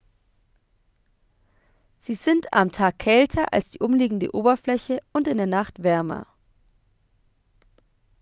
"""sie sind am tag kälter als die umliegende oberfläche und in der nacht wärmer.